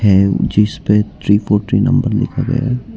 हे जिसपे three four three number लिखा गया--